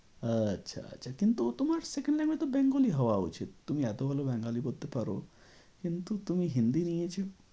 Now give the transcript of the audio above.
আচ্ছা আচ্ছা কিন্তু তোমার second language তো bengali হওয়া উচিত তুমি এতো ভালো bengali পড়তে পারো। কিন্তু তুমি hindi নিয়েছো।